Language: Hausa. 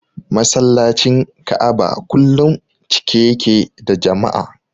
Masallacin Ka'aba kullum cike yake da jama'a.